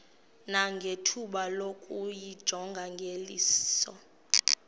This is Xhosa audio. nangethuba lokuyijonga ngeliso